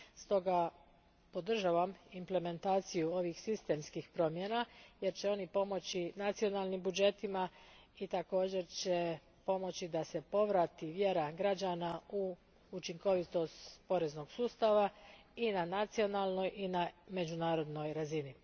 Stoga podržavam implementaciju ovih sistemskih promjena jer će oni pomoći nacionalnim budžetima i također će pomoći da se povrati vjera građana u učinkovitost poreznog sustava i na nacionalnoj i na međunarodnoj razini.